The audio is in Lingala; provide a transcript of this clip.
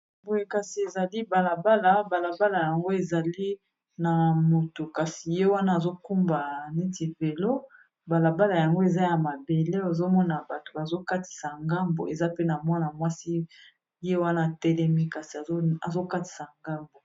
Boye kasi ezali balabala. Balabala yango ezali na moto, kasi ye wana azokumba neti velo. Balabala yango eza ya mabele. Ozomona bato bazokatisa ngambo. Eza pe na mwana mwasi ye wana atelemi, azokatisa ngambo.